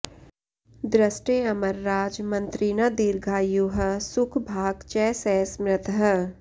दृष्टे अमरराज मन्त्रिणा दीर्घायुः सुख भाक् च स स्मृतः